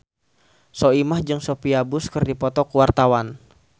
Soimah jeung Sophia Bush keur dipoto ku wartawan